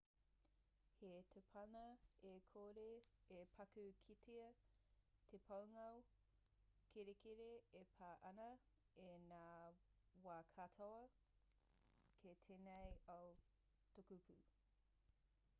he tōpana e kore e paku kitea te pūngao kerekere e pā ana i ngā wā katoa ki tēnei ao tukupū